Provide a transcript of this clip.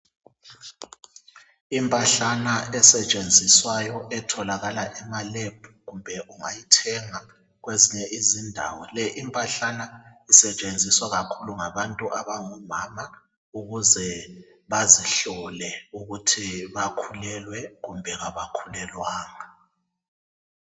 impahlana esetshenziswayo etholakala ema lab kumbe ungayithenga kwezinye izindawo le impahlana isetshenziswa kakhulu ngabantu abangomama ukuze bazihlole ukuthi bakhulelwe kumbe kabakhulelwanga